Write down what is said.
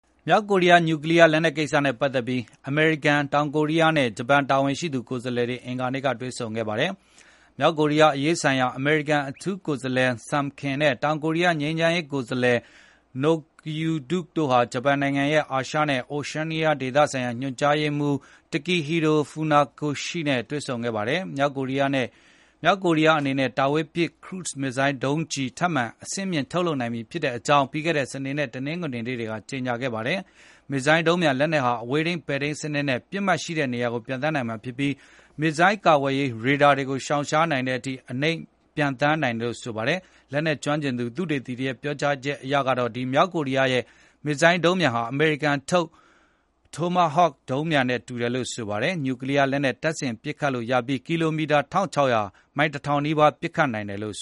မြောက်ကိုရီးယား နျူးကလီးယားလက်နက်ကိစ္စနဲ့ပတ်သက်ပြီး အမေရိကန်၊ တောင်ကိုရီးယားနဲ့ ဂျပန် တာဝန်ရှိသူကိုယ်စားလှယ်တွေ အင်္ဂါနေ့က တွေ့ဆုံခဲ့ကြပါတယ်။ မြောက်ကိုရီးယားအရေး ဆိုင်ရာ အမေရိကန် အထူးကိုယ်စားလှယ် Sung Kim နဲ့ တောင်ကိုရီးယား ငြိမ်းချမ်းရေးကိုယ်စားလှယ် Noh Kyu-duk တို့ဟာ ဂျပန်နိုင်ငံရဲ့ အာရှနဲ့ Oceania ဒေသဆိုင်ရာ ညွှန်ကြားရေးမှူး Takehiro Funakoshi တို့တွေ့ဆုံခဲ့ပါတယ်။ မြောက်ကိုရီးယားအနေနဲ့ တာဝေးပစ် ခရု မစ်ဇိုင်း ဒုံး ထပ်မံအဆင့်မြှင့်ထုပ်လုပ်နိုင်ပြီဖြစ်ကြောင်း ပြီးခဲ့တဲ့စနေ နဲ့ တနင်္ဂနွေ နေ့တွေကကြေညာ ခဲ့ပါတယ်။ ဒီမစ်ဇိုင်းဒုံပျံလက်နက်ဟာ အဝေးထိန်း ပဲ့ထိန်းစနစ်နဲ့ ပစ်မှတ်ရှိတဲ့နေရာကို ပျံသန်းနိုင်မှာဖြစ်ပြီး မစ်ဇိုင်းကာကွယ်ရေး ရေဒါတွေကေို ရှာင်ရှားနိုင်လောက်တဲ့အထိ အနိမ့်ပျံ ပျံသန်းနိုင်တယ်လို့ဆိုပါတယ်။ လက်နက်ကျွမ်းကျင်သူ သုတေသီတွေပြောကြားချက်အရကတော့ ဒီမြောက်ကိုရီးယားရဲ့ မစ်ဇိုင်းဒုံပျံဟာ အမေရိကန်က ထုတ်လုပ်ထားတဲ့ တိုမာဟော့ မစ်ဇိုင်းဒုံပျံနဲ့တူတယ်လို့ဆိုပါတယ်။ နျူးကလီးယားလက်နက်တပ်ဆင်ပစ်ခတ်လို့ရပြီး ကီလိုမီတာ ၁၆၀၀ (မိုင် ၁၀၀၀ နီးပါး) အဝေးကိုပစ်ခတ်နိုင်ပါတယ်။